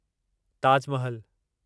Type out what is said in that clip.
Taj Mahal